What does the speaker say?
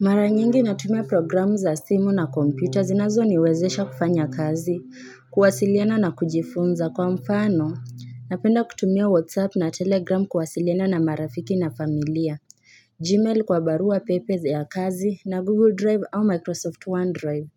Mara nyingi natumia programu za simu na kompyuta zinazo niwezesha kufanya kazi, kuwasiliana na kujifunza kwa mfano, napenda kutumia whatsapp na telegram kuwasiliana na marafiki na familia, gmail kwa barua pepe ya kazi na google drive au microsoft onedrive,